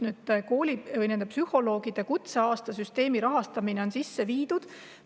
Nüüd, koolipsühholoogide kutseaasta süsteemi rahastamine on ellu viidud.